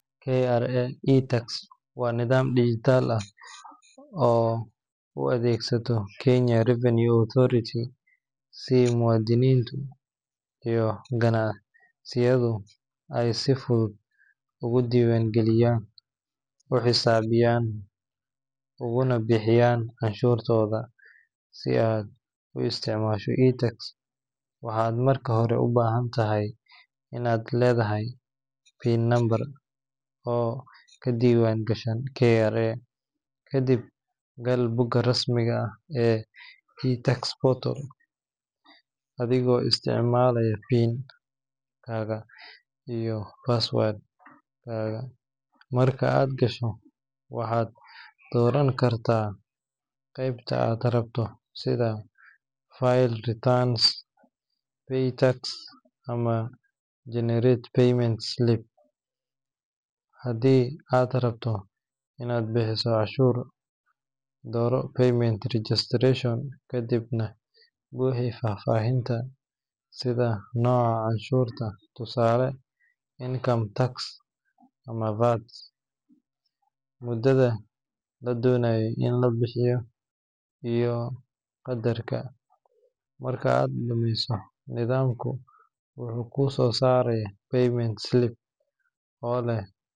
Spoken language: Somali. KRA iTax waa nidaam dijitaal ah oo uu adeegsado Kenya Revenue Authority si muwaadiniintu iyo ganacsiyadu ay si fudud ugu diiwaangeliyaan, u xisaabiyaan, uguna bixiyaan canshuurahooda. Si aad u isticmaasho iTax, waxaad marka hore u baahan tahay inaad leedahay PIN number oo ka diiwaangashan KRA. Kadib, gal bogga rasmiga ah ee iTax portal adigoo isticmaalaya PIN-kaaga iyo password-kaaga. Marka aad gasho, waxaad dooran kartaa qaybta aad rabto sida file returns, pay tax, ama generate payment slip. Haddii aad rabto in aad bixiso canshuur, dooro payment registration, kadibna buuxi faahfaahinta sida nooca canshuurta (tusaale income tax ama VAT), muddada la doonayo in la bixiyo, iyo qadarka. Marka aad dhammayso, nidaamku wuxuu kuu soo saarayaa payment slip oo leh.